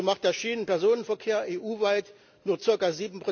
So macht der Schienenpersonenverkehr EU weit nur ca.